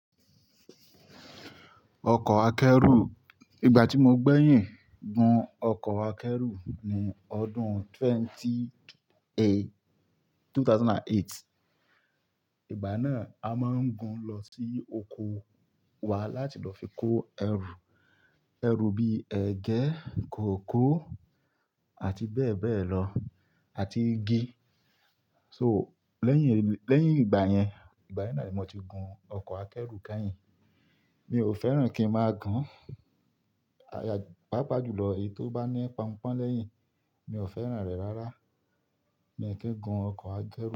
Ọkọ̀ akẹ́rù, ìgbà tí mo gbẹ́yìn gun ọkọ̀ akẹ́rù ni ọdún twenty- ẹgbẹ̀rún méjì ó lé mẹ́jọ. Ìgbà náà a máa ń gun lọ sí oko wa láti lọ fi kó ẹrù. Ẹrù bí ẹgẹ, kòkó àti bẹ́ẹ̀ bẹ́ẹ̀ lọ, àti igi. So lẹ́yìn, lẹ́yìn ìgbà yẹn, ìgbà yẹn náà ni mo ti gun ọkọ̀ akẹ́rù kẹ́yìn. Mi ò fẹ́ràn kí ń máa gun, aya, pàápàá jùlọ èyí tó bá ní Pọnpọ́n lẹ́yìn, mi ò fẹ́ràn rẹ̀ rárá. Mi ò kí gun ọkọ̀ ajẹ́ru.